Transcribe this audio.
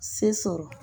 Se sɔrɔ